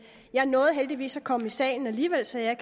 jeg nåede heldigvis at komme i salen alligevel så jeg